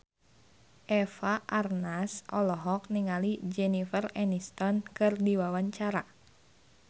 Eva Arnaz olohok ningali Jennifer Aniston keur diwawancara